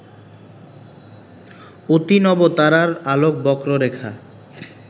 অতিনবতারার আলোক বক্ররেখা